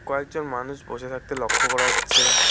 কয়েকজন মানুষ বসে থাকতে লক্ষ করা যাচ্ছে।